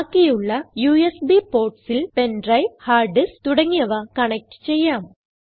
ബാക്കിയുള്ള യുഎസ്ബി portsൽ pen drive hard disk തുടങ്ങിയവ കണക്റ്റ് ചെയ്യാം